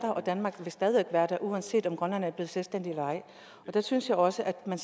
og at danmark stadig væk være der uanset om grønland er blevet selvstændigt eller ej der synes jeg også at man